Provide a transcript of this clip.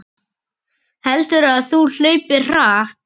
Heldurðu að þú hlaupir hratt?